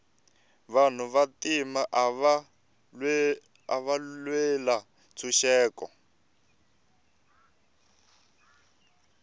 vanhu va ntima ava lwela ntshuxeko